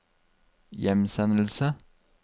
hjemsendelse